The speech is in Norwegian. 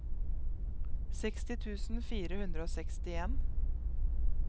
seksti tusen fire hundre og sekstien